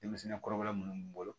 Denmisɛnnin kɔrɔbalen minnu bolo